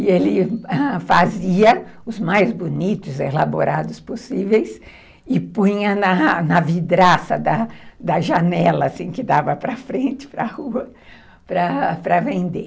E ele ãh, fazia os mais bonitos, elaborados possíveis e punha na na vidraça da janela, assim, que dava para frente, para a rua, para vender.